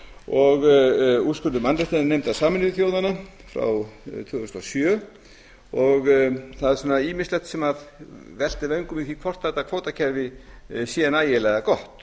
og úrskurður mannréttindanefndar sameinuðu þjóðanna frá tvö þúsund og sjö og það er ýmislegt sem veltir vöngum yfir því hvort þetta kvótakerfi sé nægilega gott